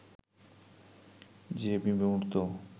যে বিমূর্ত